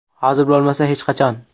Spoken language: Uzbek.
Hozir bo‘lmasa, hech qachon!